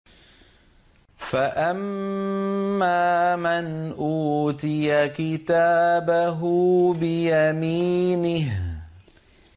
فَأَمَّا مَنْ أُوتِيَ كِتَابَهُ بِيَمِينِهِ